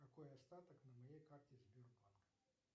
какой остаток на моей карте сбербанк